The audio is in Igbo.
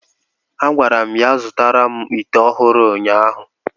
A gwara m ya zụtara m ite ọhụrụ ụnyaahụ!